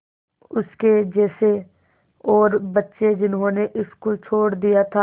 उसके जैसे और बच्चे जिन्होंने स्कूल छोड़ दिया था